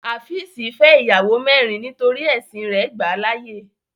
Háfìsí fẹ́ iyàwọ mẹ̀rìn nítorí ẹ̀ṣìn rè gbà láàyè.